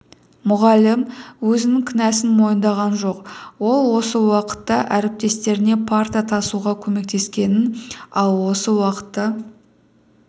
мұғалім өзінің кінәсн мойындаған жоқ ол осы уақытта әріптестеріне парта тасуға көмектескенін ал осы уақытта